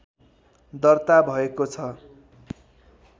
दर्ता भएको छ